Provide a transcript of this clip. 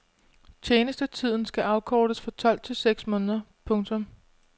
Tjenestetiden skal afkortes fra tolv til seks måneder. punktum